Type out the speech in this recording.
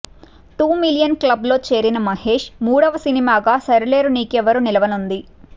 two million club లో చేరిన మహేష్ మూడవ సినిమాగా సరిలేరు నీకెవ్వరు నిలవనుంది